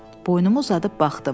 Boynumu uzadıb baxdım.